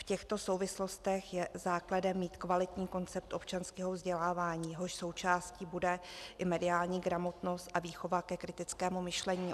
V těchto souvislostech je základem mít kvalitní koncept občanského vzdělávání, jehož součástí bude i mediální gramotnost a výchova ke kritickému myšlení.